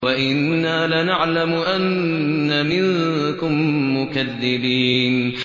وَإِنَّا لَنَعْلَمُ أَنَّ مِنكُم مُّكَذِّبِينَ